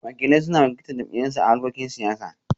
Wakilai suna wakiltar jam'iyyarsu a harkokin siyasa